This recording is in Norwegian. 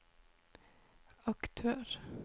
aktør